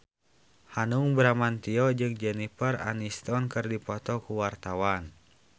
Hanung Bramantyo jeung Jennifer Aniston keur dipoto ku wartawan